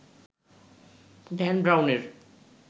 Dan ব্রাউনের